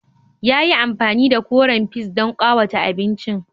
Ya yi amfani da koren peas don ƙawata abincin.